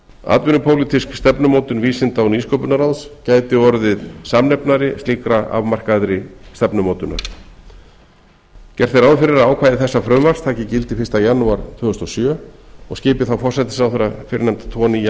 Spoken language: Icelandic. atvinnupólitísk stefnumótun vísinda og nýsköpunarráðs gæti orðið samnefnari slíkrar afmarkaðri stefnumótunar gert er ráð fyrir að ákvæði þessa frumvarps taki gildi fyrsta janúar tvö þúsund og sjö og skipi þá forsætisráðherra fyrrnefnda tvo nýja